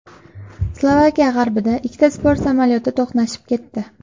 Slovakiya g‘arbida ikkita sport samolyoti to‘qnashib ketdi.